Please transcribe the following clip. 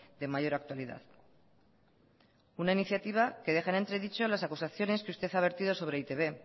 de mayor actualidad una iniciativa que deja en entredicho las acusaciones que usted ha vertido sobre e i te be